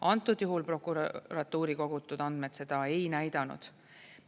Antud juhul prokuratuuri kogutud andmed seda ei näidanud.